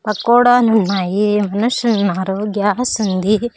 పకోడాలు ఉన్నాయి మనుషులు ఉన్నారు గ్యాస్ ఉంది.